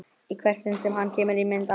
Í hvert sinn sem hann kemur í mynd á